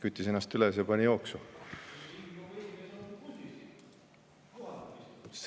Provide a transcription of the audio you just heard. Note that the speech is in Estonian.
Küttis ennast üles ja pani jooksu.